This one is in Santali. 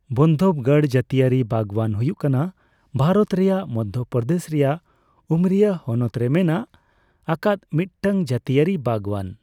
ᱵᱟᱱᱫᱷᱚᱵᱽᱜᱚᱲ ᱡᱟᱹᱛᱤᱭᱟᱹᱨᱤ ᱵᱟᱜᱣᱟᱱ ᱦᱩᱭᱩᱜ ᱠᱟᱱᱟ ᱵᱷᱟᱨᱚᱛ ᱨᱮᱭᱟᱜ ᱢᱚᱫᱽᱫᱷᱚᱯᱨᱚᱫᱮᱥ ᱨᱮᱭᱟᱜ ᱩᱢᱚᱨᱤᱭᱟ ᱦᱚᱱᱚᱛ ᱨᱮ ᱢᱮᱱᱟᱜ ᱟᱠᱟᱫ ᱢᱤᱫᱴᱟᱝ ᱡᱟᱹᱛᱤᱭᱟᱹᱨᱤ ᱵᱟᱜᱽᱣᱟᱱ ᱾